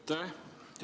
Aitäh!